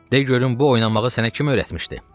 De görüm bu oynamağı sənə kim öyrətmişdi?